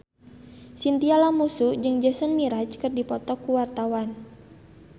Chintya Lamusu jeung Jason Mraz keur dipoto ku wartawan